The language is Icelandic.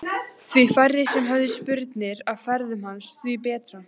Því færri sem höfðu spurnir af ferðum hans því betra.